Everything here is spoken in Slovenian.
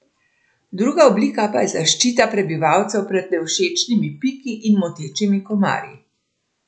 Druga oblika pa je zaščita prebivalcev pred nevšečnimi piki in motečimi komarji.